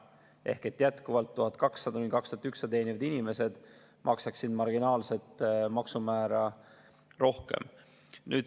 Ehk jätkuvalt 1200–2100 teenivad inimesed maksaksid marginaalset maksumäära rohkem.